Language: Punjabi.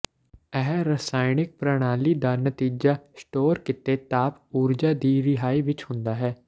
ਇਹ ਰਸਾਇਣਕ ਪ੍ਰਣਾਲੀ ਦਾ ਨਤੀਜਾ ਸਟੋਰ ਕੀਤੇ ਤਾਪ ਊਰਜਾ ਦੀ ਰਿਹਾਈ ਵਿੱਚ ਹੁੰਦਾ ਹੈ